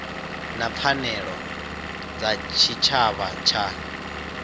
na pfanelo dza tshitshavha dza